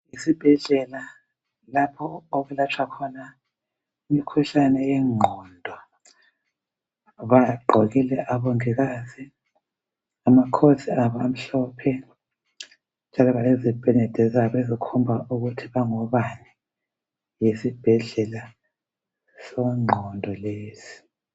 Isibhedlela lapho okwelatshwa khona imikhuhlane yengqondo bagqokile abongikazi ama coats abo amhlophe lezipenede zabo ezikhomba ukuthi bangobani yisibhedlela sengqondo lesi.